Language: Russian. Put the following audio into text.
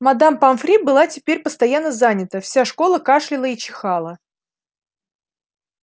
мадам помфри была теперь постоянно занята вся школа кашляла и чихала